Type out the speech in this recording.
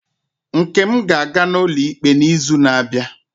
Nkem ga-aga ụlọikpe n'izu na-abịa?